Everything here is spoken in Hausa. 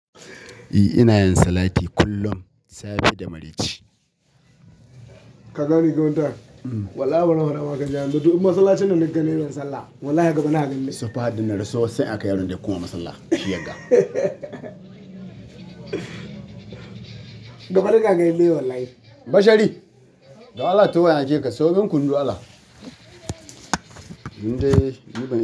E, ina yin salati kullum safe da maraice. Ka gane gidan nan? Wallahi ban haura ba kakan jawo. Mutum masu salat ce na gane ban sallah. Wallahi gaba na ganni. Safa addinai raso sai aka yarda da kuma masallan, shiyagga. Bashari, don Allah taho na aike ka, sayomin kunu don Allah.